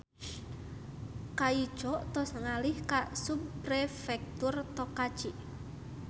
Kaico tos ngalih ka Subprefektur Tokachi